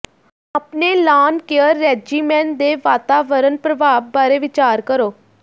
ਆਪਣੇ lawn care regimen ਦੇ ਵਾਤਾਵਰਣ ਪ੍ਰਭਾਵ ਬਾਰੇ ਵਿਚਾਰ ਕਰੋ